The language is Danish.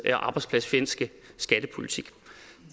og arbejdspladsfjendske skattepolitik